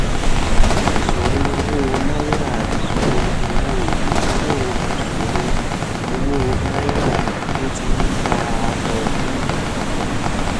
ìṣòro owó nairaìṣòro owó ìnáwó ìṣòro owó naira tó ti ń bá a lọ fún òpò